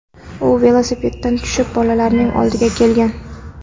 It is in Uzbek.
U velosipedidan tushib, bolalarning oldiga kelgan.